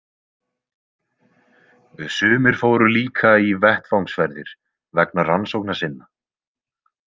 Sumir fóru líka í vettvangsferðir vegna rannsókna sinna.